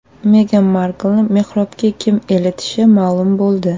Megan Marklni mehrobga kim eltishi ma’lum bo‘ldi.